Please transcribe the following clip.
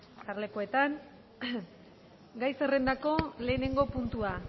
jarlekuetan gai zerrendako lehenengo puntua